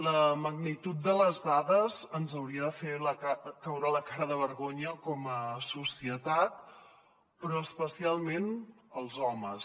la magnitud de les dades ens hauria de fer caure la cara de vergonya com a societat però especialment als homes